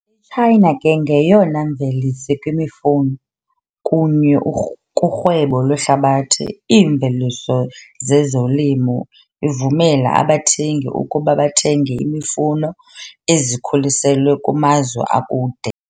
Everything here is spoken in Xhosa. China ke ngoyena mvelisi kwemifuno, kunye kurhwebo lwehlabathi iimveliso zezolimo ivumela abathengi ukuba bathenge imifuno ezikhuliselwe kumazwe akude.